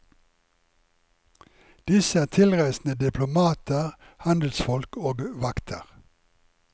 Disse er tilreisende diplomater, handelsfolk og vakter.